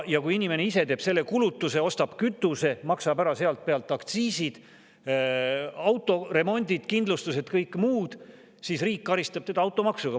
Kui inimene ise teeb selle kulutuse, ostab kütuse, maksab ära sealt pealt aktsiisid, autoremondid, kindlustused, kõik muud, siis riik karistab teda automaksuga.